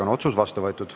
Otsus on vastu võetud.